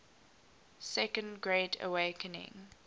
second great awakening